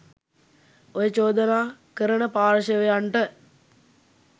ඔය චෝදනා කරන පාර්ශ්වයන්ට